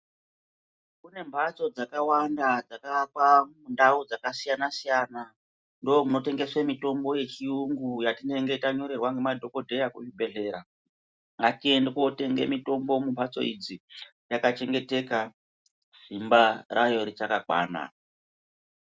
Kune mbatso dzakawanda dzakaakwa mundau dzakasiyana-siyana. Ndoomunotengeswe mitombo yechiyungu yatinenge tanyorerwa ngemadhokodheya kuzvibhedhlera. Ngatiende kootenga mitombo mumbatso idzi yakachengeteka, simba rayo richakakwana.